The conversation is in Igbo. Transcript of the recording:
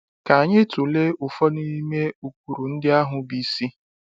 Ka anyị tụlee ụfọdụ n’ime ụkpụrụ ndị ahụ bụ isi.